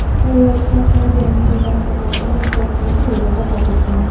Ayol olgan tan jarohatlaridan voqea joyida vafot etgan.